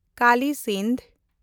Kali Sindh